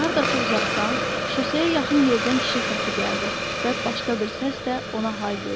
Hardasa uzaqdan, şoseyə yaxın yerdən kişi səsi gəldi və başqa bir səs də ona hay verdi.